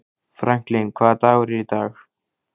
Franklin, hvaða dagur er í dag?